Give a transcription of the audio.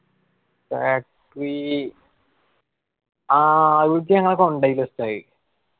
factory ആ അയിക്ക് ഞങ്ങളെ കൊണ്ടോയില്ലസ്താദ്.